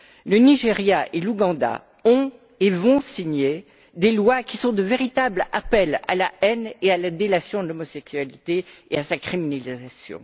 Le Nigeria et l'Ouganda ont signé et vont signer des lois qui sont de véritables appels à la haine et la délation de l'homosexualité et à sa criminalisation.